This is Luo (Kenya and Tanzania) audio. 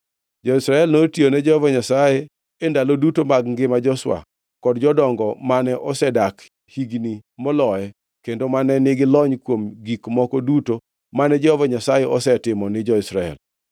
Jo-Israel notiyone Jehova Nyasaye e ndalo duto mag ngima Joshua kod jodongo mane osedak higni moloye, kendo mane nigi lony kuom gik moko duto mane Jehova Nyasaye osetimo ni jo-Israel.